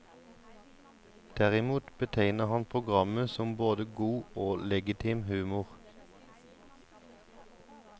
Derimot betegner han programmet som både god og legitim humor.